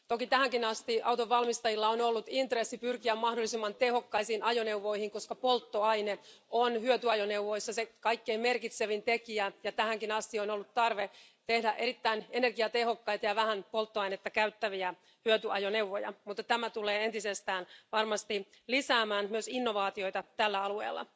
Toki tähänkin asti autonvalmistajilla on ollut intressi pyrkiä mahdollisimman tehokkaisiin ajoneuvoihin, koska polttoaine on hyötyajoneuvoissa se kaikkein merkitsevin tekijä, ja tähänkin asti on ollut tarve tehdä erittäin energiatehokkaita ja vähän polttoainetta käyttäviä hyötyajoneuvoja, mutta tämä tulee entisestään varmasti lisäämään myös innovaatioita tällä alueella.